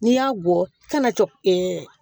N'i y'a bɔ i kana cɔcɔ